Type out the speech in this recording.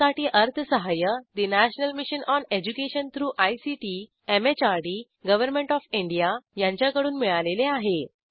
यासाठी अर्थसहाय्य ठे national mission on education through ICT MHRD government of India यांच्याकडून मिळालेले आहे